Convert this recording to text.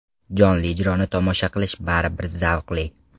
Jonli ijroni tomosha qilish baribir zavqli.